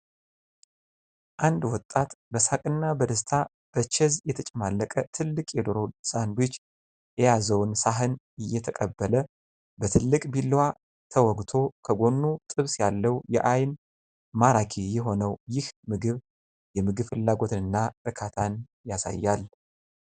አንድ ወጣት በሳቅ እና በደስታ በቺዝ የተጨማለቀ ትልቅ የዶሮ ሳንድዊች የያዘውን ሳህን እየተቀበለ ። በትልቅ ቢላዋ ተወግቶ ከጎኑ ጥብስ ያለው የአይን ማራኪ የሆነው ይህ ምግብ የምግብ ፍላጎትና እርካታን ያሳያል።